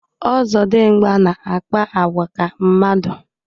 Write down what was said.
Ọzọdịmgba na-akpa àgwà ka mmadụ